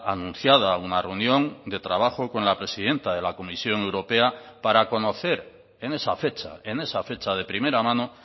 anunciada una reunión de trabajo con la presidenta de la comisión europea para conocer en esa fecha en esa fecha de primera mano